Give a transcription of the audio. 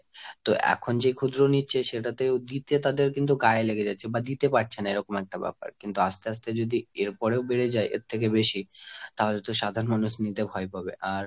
তো এখন যে ক্ষুদ্র নিচ্ছে সেটা তোও দিতে তাদের কিন্তু গায়ে লেগে যাচ্ছে। বা দিতে পারছে না। এরকম একটা ব্যাপার। কিন্তু আস্তে আস্তে যদি এরপরেও বেড়ে যায় এর থেকে বেশি। তাহলে তো সাধারণ মানুষ নিতে ভয় পাবে। আর,